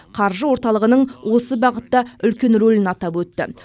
қаржы орталығының осы бағытта үлкен рөлін атап өтті